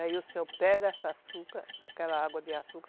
Aí o senhor pega esse açúcar, aquela água de açúcar,